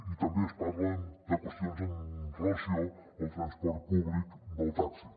i també es parla de qüestions amb relació al transport públic del taxi